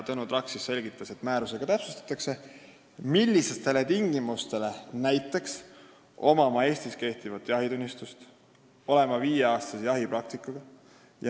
Tõnu Traks selgitas, et neid tingimusi täpsustatakse määrusega .